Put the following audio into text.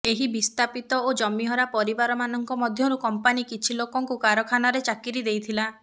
ଏହି ବିସ୍ଥାପିତ ଓ ଜମିହରା ପରିବାର ମାନଙ୍କ ମଧ୍ୟରୁ କମ୍ପାନୀ କିଛି ଲୋକଙ୍କୁ କାରଖାନାରେ ଚାକିରି ଦେଇଥିଲା